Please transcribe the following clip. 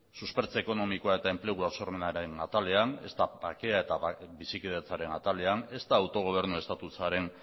ezta suspertze ekonomikoa eta enplegua sormenaren atalean ezta bakea eta bizikidetzaren atalean ezta autogobernu estatusaren